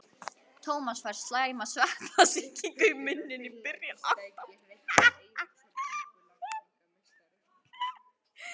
Tómas fær slæma sveppasýkingu í munninn í byrjun október.